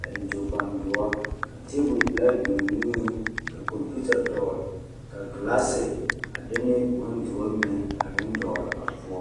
a eŋ tookpandoɔ ka teebulpelaa biŋ o niŋeŋ ka kɔmpiita dɔɔl ka ɡelaase a de ne bondoɔ mine a meŋ dɔɔle a poɔ.